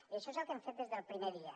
i això és el que hem fet des del primer dia